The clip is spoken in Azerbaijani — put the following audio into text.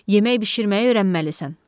Yemək bişirməyi öyrənməlisən.